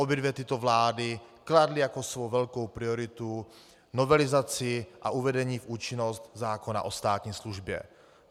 Obě dvě tyto vlády kladly jako svou velkou prioritu novelizaci a uvedení v účinnost zákon o státní službě.